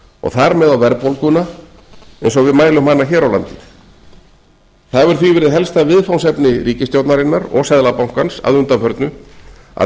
og þar með á verðbólguna eins og við mælum hana hér á landi það hefur því verið helsta viðfangsefni ríkisstjórnarinnar og seðlabankans að undanförnu að